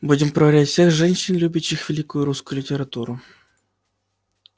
будем проверять всех женщин любящих великую русскую литературу